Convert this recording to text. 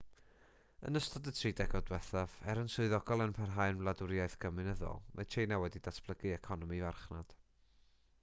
yn ystod y tri degawd diwethaf er yn swyddogol yn parhau'n wladwriaeth gomiwnyddol mae tsieina wedi datblygu economi farchnad